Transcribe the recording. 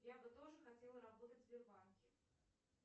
я бы тоже хотела работать в сбербанке